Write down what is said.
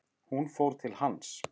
Hún fór til hans.